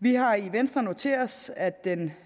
vi har i venstre noteret os at den